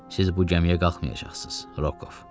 Siz bu gəmiyə qalxmayacaqsınız, Rokov.